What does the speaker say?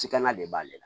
Sikanna de b'ale la